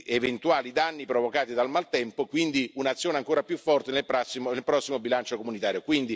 eventuali danni provocati dal maltempo, quindi un'azione ancora più forte nel prossimo bilancio comunitario.